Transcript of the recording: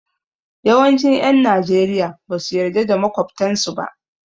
Yawancin 'yan Najeriya ba su yarda da makwabtansu ba.